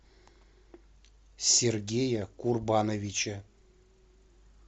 сергея курбановича